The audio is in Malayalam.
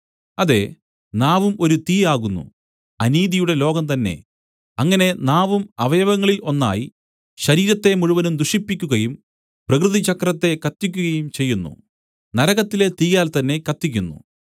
അതെ നാവും ഒരു തീ ആകുന്നു അനീതിയുടെ ലോകം തന്നെ അങ്ങനെ നാവും അവയവങ്ങളിൽ ഒന്നായി ശരീരത്തെ മുഴുവനും ദുഷിപ്പിക്കുകയും പ്രകൃതിചക്രത്തെ കത്തിക്കുകയും ചെയ്യുന്നു നരകത്തിലെ തീയാൽ തന്നെ കത്തിക്കുന്നു